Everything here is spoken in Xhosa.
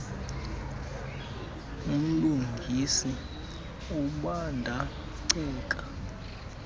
mlungisi ubanda ceke